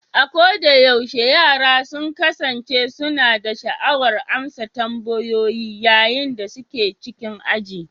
A kodayaushe, yara sun kasance suna da sha'awar amsa tambayoyi yayin da suke cikin aji